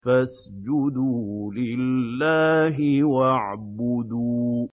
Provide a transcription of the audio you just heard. فَاسْجُدُوا لِلَّهِ وَاعْبُدُوا ۩